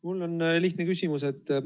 Mul on lihtne küsimus.